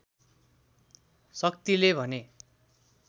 शक्तिले भने